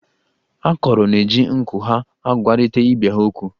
Akọrọ na-eji nku ya agwarịta ibe ha okwu.